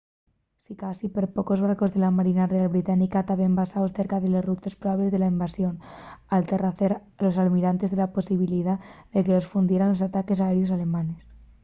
sicasí perpocos barcos de la marina real británica taben basaos cerca de les rutes probables de la invasión al tarrecer los almirantes la posibilidá de que los fundieran los ataques aéreos alemanes